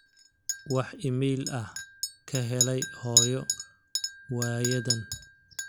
wax iimayl ah ka helay hooyo waayadan